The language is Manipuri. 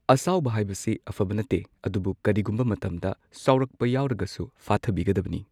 ꯑꯁꯥꯎꯕ ꯍꯥꯏꯕꯁꯤ ꯑꯐꯕ ꯅꯠꯇꯦ ꯑꯗꯨꯕꯨ ꯀꯔꯤꯒꯨꯝꯕ ꯃꯇꯝꯗ ꯁꯥꯎꯔꯛꯄ ꯌꯥꯎꯔꯒꯁꯨ ꯐꯥꯊꯕꯤꯒꯗꯕꯅꯤ꯫